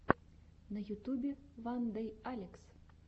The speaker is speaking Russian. на ютюбе вандэйалекс